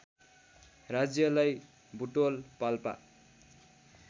राज्यलाई बुटवल पाल्पा